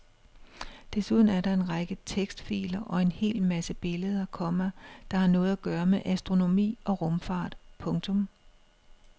Desuden er der en række tekstfiler og en hel masse billeder, komma der har noget at gøre med astronomi og rumfart. punktum